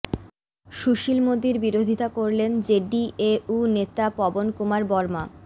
সুশীল মোদীর বিরোধিতা করলেন জেডিএউ নেতা পবন কুমার বর্মা